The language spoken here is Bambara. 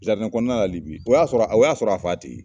kɔnɔna la Libi o y'a sɔrɔ o y'a sɔrɔ a fa tɛ ye.